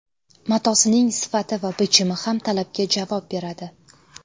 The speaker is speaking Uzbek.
Matosining sifati va bichimi ham talabga javob beradi.